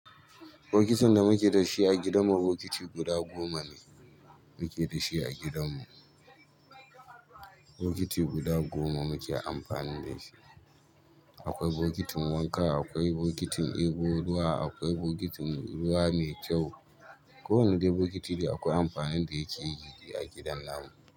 Bokitin da muke da shi a gidanmu bokiti guda gomane muke da shi a gidanmu. Bokiti guda goma muke amfani da shi. Akwai bokitin wanka, akwai bokitin ɗebo ruwa, akwai bokitin ruwa mai kyau. Ko wani dai bokiti dai akwai amfanin da yakeyi a gidan namu.